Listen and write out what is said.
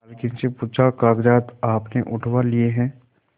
मालकिन से पूछाकागजात आपने उठवा लिए हैं